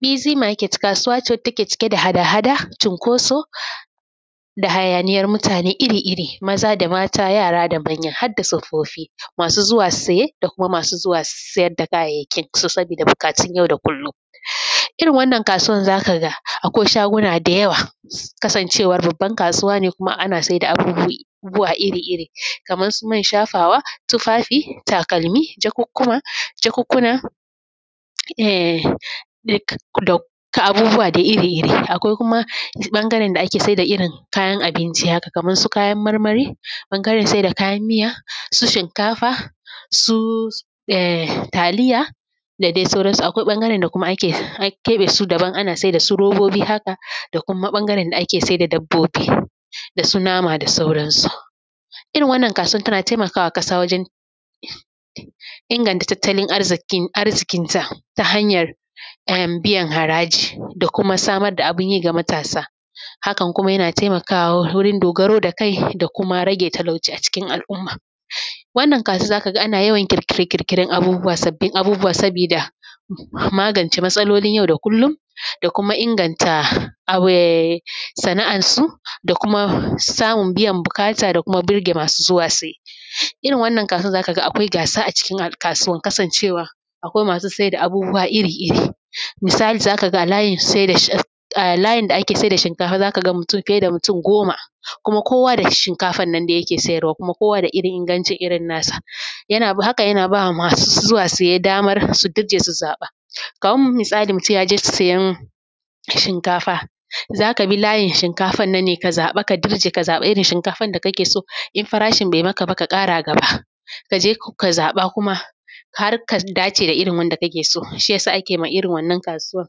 Bizi market kasuwa ce wadda take cike da hada-hada cinkoso da hayaniyan mutane iri-iri maza da mata yara da manya hadda tsofaffi masu zuwa saye da kuma masu zuwa su sayar da kayayyaki saboda buƙatun yau da kullun, irin wannan kasuwan za ka ga akwai shaguna da yawa kasancewa babban kasuwa ne kuma ana saida abubuwa iri-iri kamar su man shafawa, tufafi, takalmi, jakukkuna, duk da abubuwa iri-iri. Akwai kuma ɓangaren da ake saida irin kayan abinci haka kamar su kayan marmari, ɓangaren saida kayan miya, su shinkafa, su ehm taliya da dai sauran su. Akwai ɓangaren da an keɓe su daban ana saida su robobi haka da kuma ɓangaren da ake saida dabbobi da su nama da sauran su. Irin wannan kasuwar tana taimakawa ƙasa wajen inganta tattalin arziƙinta ta hanyar ehm biyan haraji da kuma samar da abunyi ga matasa. Hakan kuma yana taimakwa wurin dogaro ga kai da kuma rage talauci a cikin al’umma. Wannan kasuwa zakaga ana yawan ƙirƙire-ƙirƙiren abubuwa sabbin abubuwa sabida magance matsalolin yau da kullum da kuma da kuma inganta sana’an su da kuma samun biyan buƙata da kuma burge masu zuwa saye. Irin wannan kasuwan zakaga akwai gasa a cikin kasuwan kasancewa akwai masu saida abubuwa iri-iri misali zakaga a layin saida shin a layin da ake saida shinkafa zakaga fiye da mutum goma kuma kowa shinkafannan dai yake siyarwa kuma kowa da irin ingancin irin nasa. Haka na bawa masu zuwa saye damar su dirje su zaɓa. Kaman misali mutum yaje siyan shinkafa zaka bi layin shinkafan nan ne ka zaɓa ka dirje ka zaɓa irin shinkafan da kakeso in farashin bai makaba ka ƙara gaba. Kaje ka zaɓa kuma har ka dace da irin wadda kakeso. Shiyasa akema irin wannan kasuwan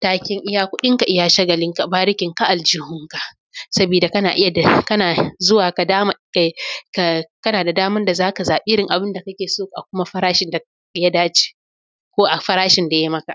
taken iya kuɗinka iya shagalin ka barikin ka aljihun ka sabida kana iya kana zuwa ka dama kana da daman da zaka zaɓi abunda kakeso a kuma farashin daya dace ko a farashin daya maka.